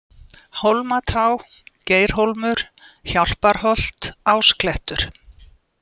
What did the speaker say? Hólmatá, Geirhólmur, Hjálparholt, Ásklettur